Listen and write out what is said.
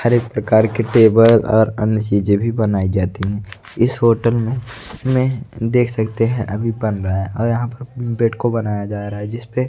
हर एक प्रकार की टेबल और अन्य चीजे भी बनाई जाती है इस होटल में मे देख सकते हैं अभी बन रहा है और यहां प बेड को बनाया जा रहा है जिसपे--